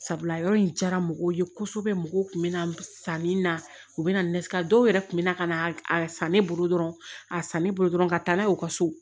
Sabula yɔrɔ in diyara mɔgɔw ye kosɛbɛ mɔgɔw kun bɛ na sanni na u bɛ nasi a dɔw yɛrɛ tun bɛ na ka na a san ne bolo dɔrɔn a san ne bolo dɔrɔn ka taa n'a ye u ka so